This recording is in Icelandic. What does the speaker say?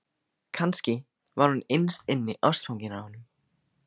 Kannski var hún innst inni ástfangin af honum.